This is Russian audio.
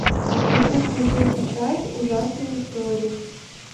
хочу смотреть сейчас ужасные истории